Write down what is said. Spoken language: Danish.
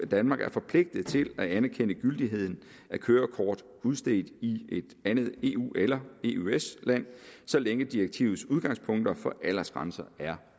danmark er forpligtet til at anerkende gyldigheden af kørekort udstedt i et andet eu eller eøs land så længe direktivets udgangspunkter for aldersgrænser er